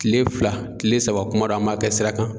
Kile fila, kile saba kuma dɔ an b'a kɛ sira kan.